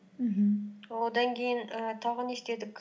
мхм одан кейін ііі тағы не істедік